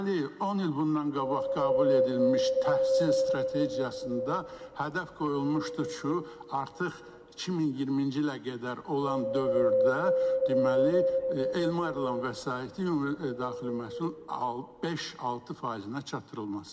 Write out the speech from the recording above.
Deməli, 10 il bundan qabaq qəbul edilmiş təhsil strategiyasında hədəf qoyulmuşdu ki, artıq 2020-ci ilə qədər olan dövrdə deməli elmə ayrılan vəsaiti ümumdaxili məhsulun beş-altı faizinə çatdırılması.